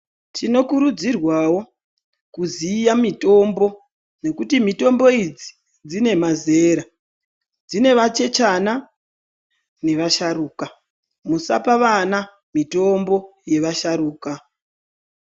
Tinokurudzirwawo kuziya mitombo, nekuti mitombo idzi dzine mazera. Dzine vachechana nevasharuka. Musapa vana mitombo yevasharuka.